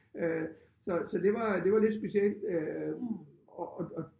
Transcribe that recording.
Øh Så så det var det var lidt specielt øh og og og